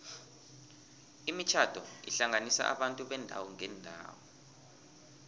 imitjhado ihlanganisa abantu beendawo ngeendawo